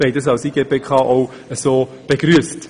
Das haben wir als IGPK auch begrüsst.